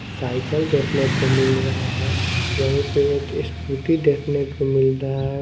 Cycle देखने को मिल रहा है। वही पे एक स्कूटी देखने को मिल रहा है।